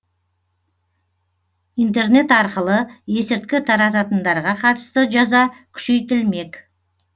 интернет арқылы есірткі тарататындарға қатысты жаза күшейтілмек